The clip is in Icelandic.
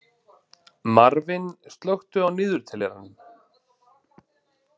Marvin, slökktu á niðurteljaranum.